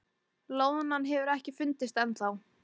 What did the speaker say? Loðnan hefur ekki fundist ennþá